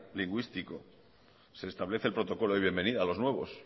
lingüístico se establece el protocolo de bienvenida a los nuevos